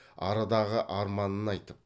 арадағы арманын айтып